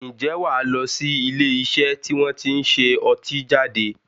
Ǹjẹ́ wà lọ sí ilé iṣẹ́ tí wọn tí ń ṣe ọtí jáde?